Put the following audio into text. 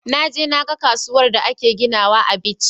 Naje na ga kasuwar da ake ginawa a bichi